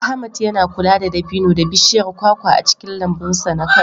Ahmad yana kula da dabino da bishiyar kwakwa a cikin lambun sa na Kano.